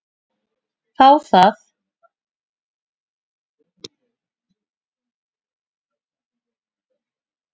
Það er það